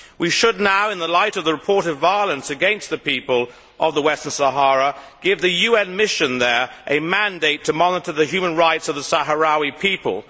We should now, in the light of the report of violence against the people of Western Sahara, give the UN mission there a mandate to monitor the human rights of the Sahrawi people.